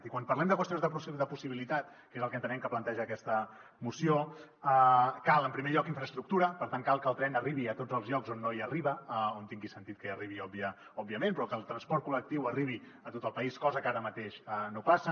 i quan parlem de qüestions de possibilitat que és el que entenem que planteja aquesta moció cal en primer lloc infraestructura per tant cal que el tren arribi a tots els llocs on no arriba on tingui sentit que arribi òbviament però que el transport col·lectiu arribi a tot el país cosa que ara mateix no passa